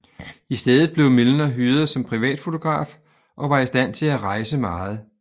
I stedet blev Milner hyret som privatfotograf og var i stand til at rejse meget